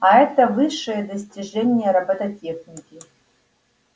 а это высшее достижение роботехники